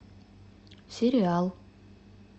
сериал